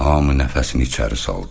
Hamı nəfəsini içəri saldı.